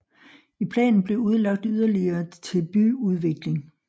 I planen blev udlagt yderligere til byudvikling